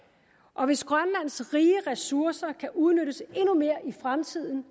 og hvis grønlands rige ressourcer kan udnyttes endnu mere i fremtiden